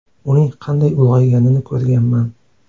Uning qanday ulg‘ayganini ko‘rganman.